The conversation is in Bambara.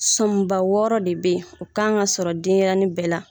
Sɔnba wɔɔrɔ de be yen o kan ka sɔrɔ denyɛrɛnin bɛɛ la